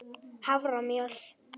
haframjöl